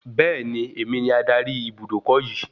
Beeni, èmi ni adarí Ibùdókọ̀ yii